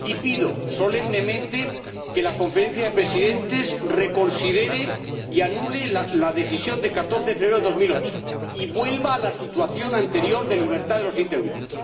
Y pido solemnemente que la Conferencia de Presidentes reconsidere y anule la decisión de 14 de febrero de 2008 y se vuelva a la situación anterior de dar libertad a los intergrupos.